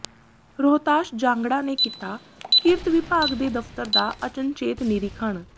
ਰੋਹਤਾਸ਼ ਜਾਂਗੜਾ ਨੇ ਕੀਤਾ ਕਿਰਤ ਵਿਭਾਗ ਦੇ ਦਫ਼ਤਰ ਦਾ ਅਚਨਚੇਤ ਨਿਰੀਖਣ